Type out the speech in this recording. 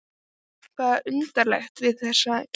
Það var eitthvað undarlegt við þessa kyrrð.